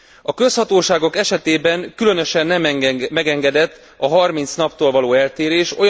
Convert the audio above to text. A közhatóságok esetében különösen nem megengedett a 30 naptól való eltérés.